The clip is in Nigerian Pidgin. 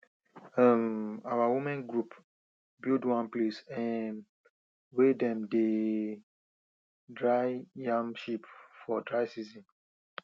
um our women group build one place um wey dem dey dry yam chip for dry season